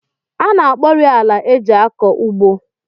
A na-akpọrị ala e ji akọ ugbo